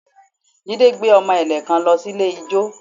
Jide gbé ọmọ ẹ̀lẹ̀ kan lọ sí ilé ijó